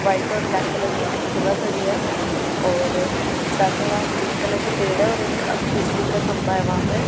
White और black colour की Activa खड़ी है और साथ में वहां ग्रीन कलर के पेड़ है और एक बिजली का खंभा है वहां पे।